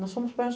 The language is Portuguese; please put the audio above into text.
Nós somos